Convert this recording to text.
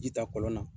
Ji ta kɔlɔn na